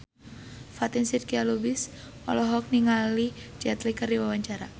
Fatin Shidqia Lubis olohok ningali Jet Li keur diwawancara